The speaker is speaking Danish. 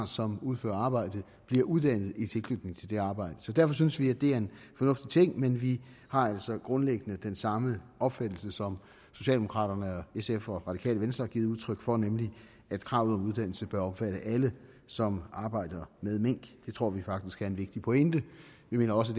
som udfører arbejdet bliver uddannet i tilknytning til det arbejde så derfor synes vi at det er en fornuftig ting men vi har altså grundlæggende den samme opfattelse som socialdemokraterne og sf og radikale venstre har givet udtryk for nemlig at kravet om uddannelse bør omfatte alle som arbejder med mink det tror vi faktisk er en vigtig pointe vi mener også